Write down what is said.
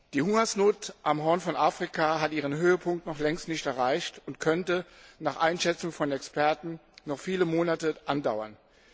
Die Hungersnot am Horn von Afrika hat ihren Höhepunkt noch längst nicht erreicht und könnte nach Einschätzung von Experten noch viele Monate andauern.